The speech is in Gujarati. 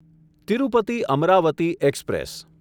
તિરુપતિ અમરાવતી એક્સપ્રેસ